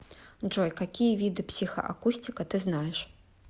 джой какие виды психоакустика ты знаешь